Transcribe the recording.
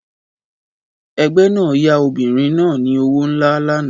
Ẹgbẹ́ náà yá obìnrin náà ni owó nlá lánàá